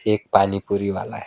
एक पानी पुरी वाला है।